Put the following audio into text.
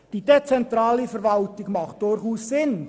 Die dezentrale Verwaltung macht durchaus Sinn.